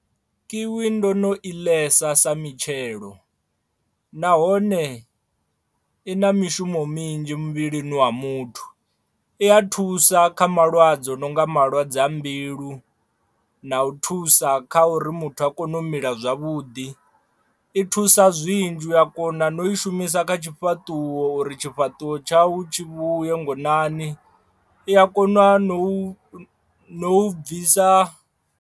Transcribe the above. Kiwi ndo no i ḽesa sa mitshelo nahone i na mishumo minzhi muvhilini wa muthu, i a thusa kha malwadze a no nga malwadze a mbilu na u thusa kha uri muthu a kone u mila zwavhuḓi i thusa zwinzhi uya kona na u i shumisa kha tshifhaṱuwo uri tshifhaṱuwo tshau tshi vhuye ngonani i a kona no u bvisa.